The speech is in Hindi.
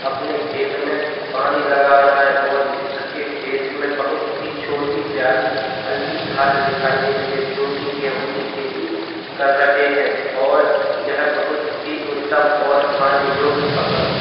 अपने खेत में पानी लगा रहा है और इसके खेत में बहोत ही छोटी प्यारी हल्की घास दिखाई दे रही है जोकि गेहूँ की खेती कर रहे हैं और यह बहोत ही उत्तम और खाने योग्य फसल है।